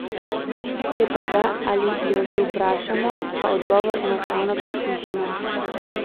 Če pa ga ali jo že vprašamo, pa odgovor enostavno preslišimo.